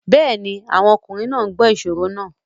Yes, the men are listening to the riddles